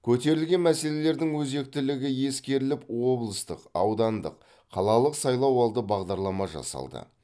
көтерілген мәселелердің өзектілігі ескеріліп облыстық аудандық қалалық сайлауалды бағдарлама жасалды